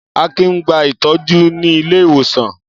Akin ń gba ìtọ́jú nílé ìwòsàn.